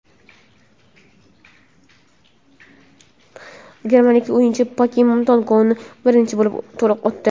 Germaniyalik o‘yinchi Pokemon Go‘ni birinchi bo‘lib to‘liq o‘tdi.